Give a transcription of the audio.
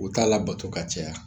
U t'a labato ka caya